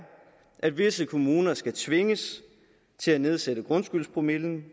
at visse kommuner skal tvinges til at nedsætte grundskyldspromillen